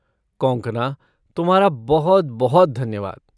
कॉन्कॉना, तुम्हारा बहुत बहुत धन्यवाद!